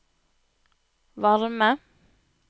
varme